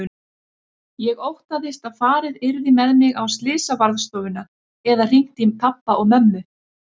Ég óttaðist að farið yrði með mig á slysavarðstofuna eða hringt í pabba og mömmu.